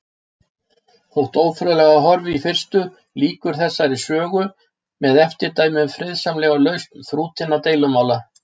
Þótt ófriðlega horfi í fyrstu, lýkur þessari sögu með eftirdæmi um friðsamlega lausn þrútinna deilumála.